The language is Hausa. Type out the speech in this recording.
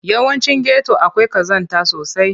Yawancin geto akwai ƙazanta sosai.